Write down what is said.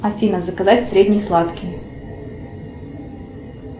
афина заказать средний сладкий